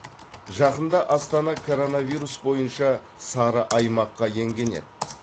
жақында астана коронавирус бойынша сары аймаққа енген еді